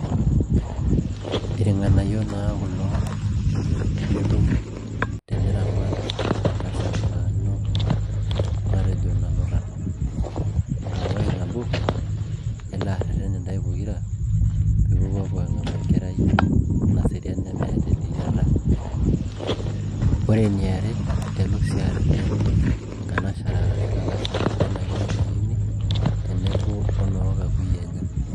irng'anayio naa kulo litum teniramat entasat naa ino matejo nanuta. ore nabo ,elo areten intaae pokira pee ipopuo aang'amu enkerai naserian nemeeta eleyiata. ore eniare, elo sii areten, inkanashera arashu ilalashera leina kerai naini tenebo oloo nkakuyia enye.